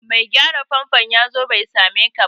Mai gyaran famfon ya zo bai same ka ba